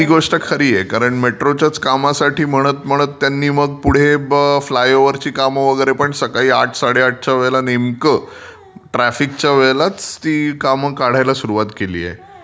ती गोष्ट खरी आहे. मेट्रोच्याच कामासाठी खरं म्हणत त्यांनी पुढे मग फ्लायओवरच्या कामांना पण नेमका आठ साडेआठ ट्राफिकच्या वेळेलच ती काम काढायला सुरुवात केलीये.